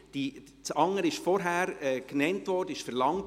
Das andere wurde vorher verlangt.